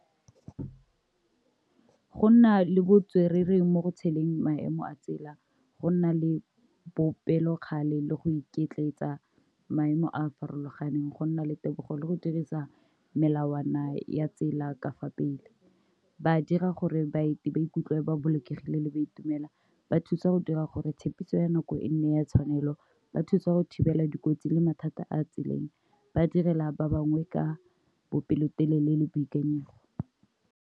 Go nna le botswerere mo go tsheleng maemo a tsela, go nna le bopelokgale le go iketletsa maemo a a farologaneng, go nna le tebogo le go dirisa melawana ya tsela ka fa pele, ba dira gore baeti ba ikutlwe ba bolokegile le ba itumela, ba thusa go dira gore tshepiso ya nako e nne ya tshwanelo, ba thusa go thibela dikotsi le mathata a tseleng, ba direla ba bangwe ka bopelotelele le boikanyego.